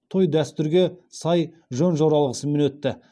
той дәстүрге сай жөн жоралғысымен өтті